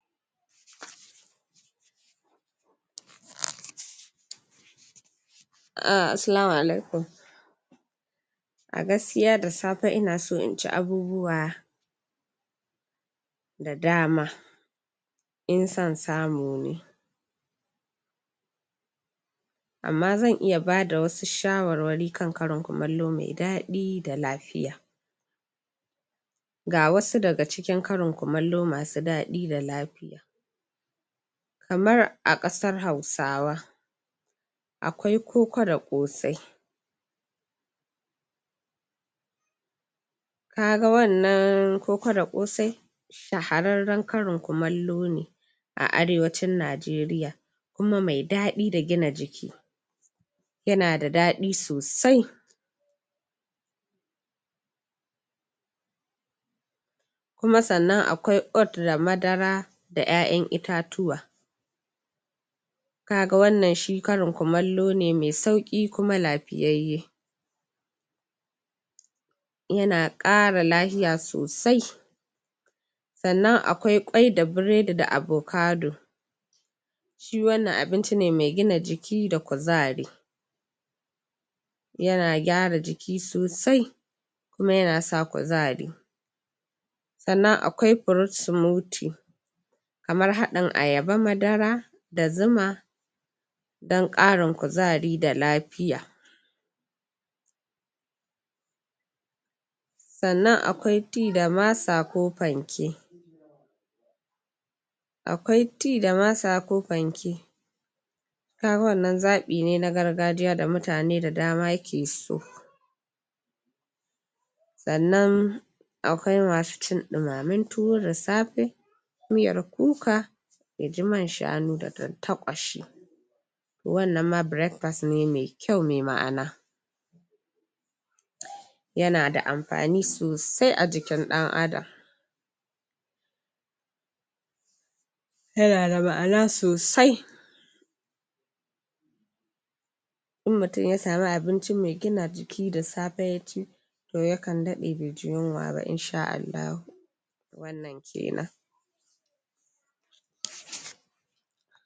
uhh assalamu alaikum a gaskiya da safe ina so in ci abubuwa da dama in son samu ne amma zan iya bada wasu shawarwari kan karin kumallo me daɗi da lafiya ga wasu daga cikin karin kumallo masu daɗi da lafiya kamar a ƙasar hausawa akwai koko da ƙosai ka ga wannan koko da ƙosai shahararren karin kumallo ne a arewacin Najeriya kuma me daɗi da gina jiki yana da daɗi sosai kuma sannan akwai oat da madara da ƴaƴan itatuwa ka ga wannan shi karin kumallo ne me sauƙi kuma lafiyayye yana ƙara lahiya sosai sannan akwai ƙwai da burodi da avocado shi wannan abinci ne me gina jiki da kuzari yana gyara jiki sosai kuma yana sa kuzari sannan akwai fruit smoothie kamar haɗin ayaba madara da zuma dan ƙarin kuzari da lafiya sannan akwai tea da masa ko panke akwai tea da masa ko panke ka ga wannan zaɓi ne na gargajiya da mutane da dama ke so sannan akwai masu cin ɗumamen tuwo da safe miyar kuka ya ji man shanu da tantaƙwashi wannan ma breakfast ne me kyau me ma'ana yana da amfani sosai a jikin ɗan Adam yana da ma'ana sosai in mutum ya samu abinci me gina jiki da safe ya ci to yakan daɗe be ji yunwa ba in sha Allahu wannan kenan